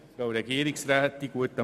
Kommissionssprecher